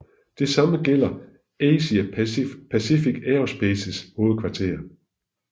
Det same gælder Asia Pacific Aerospaces hovedkvarter